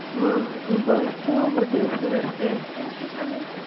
હઅ હ બસ જો બધુ સરસ છે કેમ છે તને?